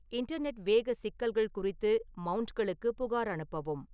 internet வேக சிக்கல்கள் குறித்து மவுண்ட்களுக்கு புகார் அனுப்பவும்